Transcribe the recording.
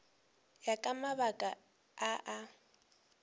ya ka mabaka a a